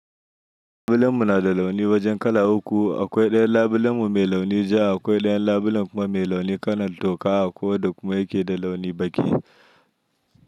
Filin mu nada launi' wajen kala uku. Akwai ɗayan labulemu mai launi ja, akwai ɗayan labulen kuma mai launi kalan toka akwai wadda kuma yake da launi baki.